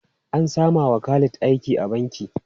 An sama wa Khalid aiki a banki.